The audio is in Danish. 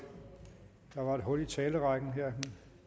hul i talerrækken her